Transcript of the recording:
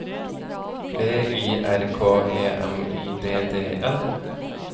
V I R K E M I D D E L